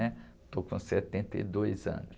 né? Estou com setenta e dois anos.